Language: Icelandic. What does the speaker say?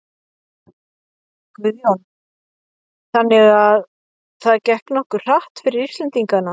Guðjón: Þannig að það gekk nokkuð hratt fyrir Íslendingana?